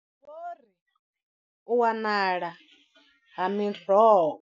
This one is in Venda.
U wanala ha miroho.